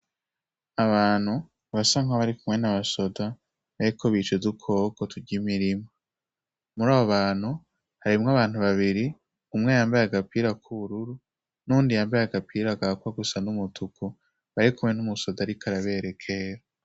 Abantu ba sa nkabo ari kumwe n' amasoda bariko bicez'ukwoko turya imirima muri abo bantu harimwo abantu babiri umwe yambaye agapira k'uururu n'undi yambaye agapira agakwa gusa n'umutuku bari kumwe n'umusoda, ariko araberekera.